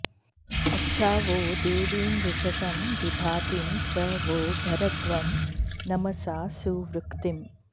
अच्छा॑ वो दे॒वीमु॒षसं॑ विभा॒तीं प्र वो॑ भरध्वं॒ नम॑सा सुवृ॒क्तिम्